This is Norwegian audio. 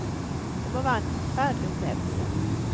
Det må være en forferdelig opplevelse.